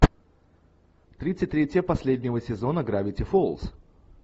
тридцать третья последнего сезона гравити фолз